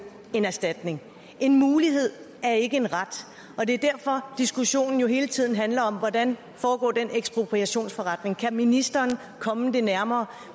en erstatning en mulighed er ikke en ret og det er derfor diskussionen jo hele tiden handler om hvordan den ekspropriationsforretning foregår kan ministeren komme det nærmere